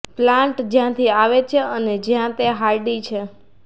plant જ્યાંથી આવે છે અને જ્યાં તે હાર્ડી છે